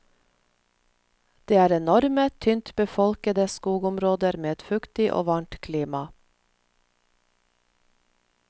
Det er enorme, tynt befolkede skogområder med et fuktig og varmt klima.